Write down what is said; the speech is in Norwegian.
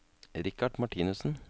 Richard Martinussen